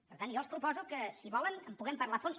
per tant jo els proposo que si ho volen en puguem parlar a fons